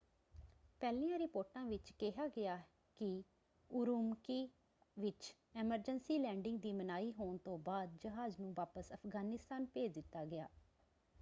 ਪਹਿਲੀਆਂ ਰਿਪੋਰਟਾਂ ਵਿੱਚ ਕਿਹਾ ਗਿਆ ਕਿ ਉਰੂਮਕੀ ਵਿੱਚ ਐਮਰਜੈਂਸੀ ਲੈਂਡਿੰਗ ਦੀ ਮਨਾਹੀ ਹੋਣ ਤੋਂ ਬਾਅਦ ਜਹਾਜ਼ ਨੂੰ ਵਾਪਸ ਅਫ਼ਗਾਨਿਸਤਾਨ ਭੇਜ ਦਿੱਤਾ ਗਿਆ।